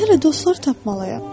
Mən hələ dostlar tapmalıyam.